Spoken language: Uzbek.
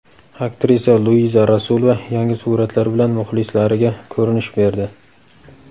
Aktrisa Luiza Rasulova yangi suratlar bilan muxlislariga ko‘rinish berdi.